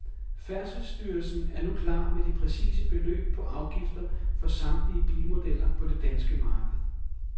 Færdselsstyrelsen er nu klar med de præcise beløb på afgifter for samtlige bilmodeller på det danske marked.